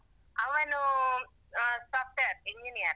ಅವನು ಅಹ್ software engineer .